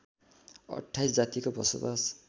२८ जातिको बसोबास